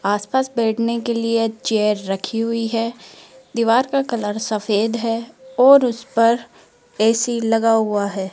आसपास बैठने के लिए चेयर रखी हुई है दीवार का कलर सफेद है और उसपर ऐ_सी लगा हुआ है।